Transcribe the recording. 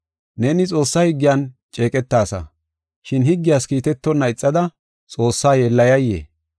Neeni Xoossaa higgiyan ceeqetasa, shin higgiyas kiitetonna ixada Xoossaa yeellayay?